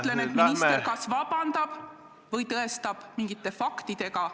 Mina ütlen, et minister kas vabandab või tõestab seda süüdistust mingite faktidega.